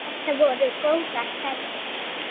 Þetta voru góðar ferðir.